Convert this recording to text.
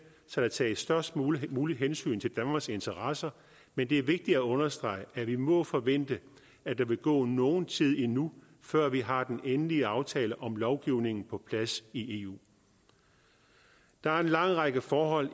så der tages størst muligt muligt hensyn til danmarks interesser men det er vigtigt at understrege at vi må forvente at der vil gå nogen tid endnu før vi har den endelige aftale om lovgivningen på plads i eu der er en lang række forhold